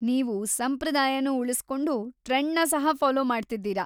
ನೀವು ಸಂಪ್ರದಾಯನೂ ಉಳಿಸ್ಕೊಂಡು ಟ್ರೆಂಡ್‌ನ ಸಹ ಫಾಲೋ ಮಾಡ್ತಿದ್ದೀರಾ.